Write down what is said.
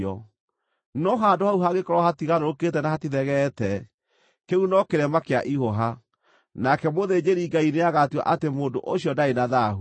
No handũ hau hangĩkorwo hatigarũrũkĩte na hatithegeete, kĩu no kĩrema kĩa ihũha, nake mũthĩnjĩri-Ngai nĩagatua atĩ mũndũ ũcio ndarĩ na thaahu.